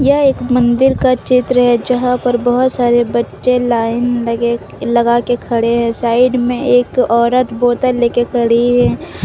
यह एक मंदिर का चित्र है यहां पर बहुत सारे बच्चे लाइन लगे लगा के खड़े हैं साइड में एक औरत बोतल ले के खड़ी है।